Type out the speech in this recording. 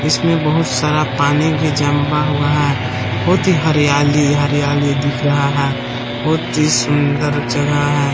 इसमें बहुत सारा पानी भी जंबा हुआ है। बहुत ही हरियाली-हरियाली दिख रहा है बहुत ही सुंदर जगह है।